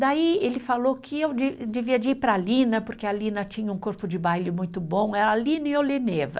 Daí, ele falou que eu de devia de ir para a Lina, porque a Lina tinha um corpo de baile muito bom, era Lina e Oleneva.